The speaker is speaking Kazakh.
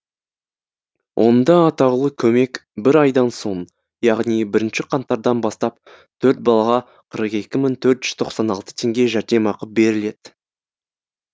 онда атаулы көмек бір айдан соң яғни бірінші қаңтардан бастап төрт балаға қырық екі мың төрт жүз тоқсан алты теңге жәрдемақы беріледі